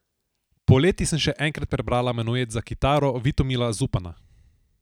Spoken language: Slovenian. Poleti sem še enkrat prebrala Menuet za kitaro Vitomila Zupana.